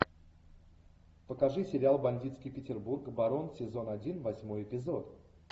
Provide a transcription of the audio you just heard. покажи сериал бандитский петербург барон сезон один восьмой эпизод